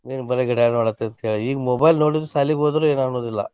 ಏನ್ ಬರೆ ಗಿಡ ನೋಡಾತಿ ಈಗ mobile ನೋಡಿದ್ರು ಸಾಲಿಗೊದ್ರು ಏನು ಅನ್ನೋದಿಲ್ಲಾ.